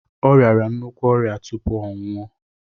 Ọ riara nnukwu ọrịa tupu ọ nwụọ